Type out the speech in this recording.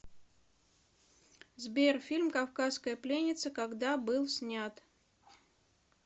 сбер фильм кавказская пленница когда был снят